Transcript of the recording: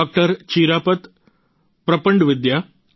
ચિરાપત પ્રપંડવિદ્યા અને ડો